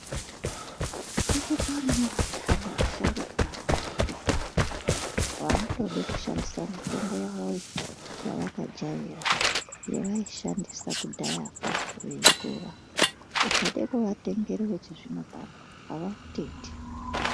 Kuchitori nevantani vasharukwa vekudhaya vanotode kushandisa mitombo yawoyo yavakajaira yavaishandisa kudhayakwo veikura ukade kuvatengere wechizvino pano avautendi.